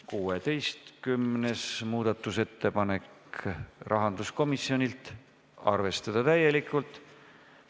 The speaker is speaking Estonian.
16. muudatusettepanek, rahanduskomisjonilt, arvestada täielikult.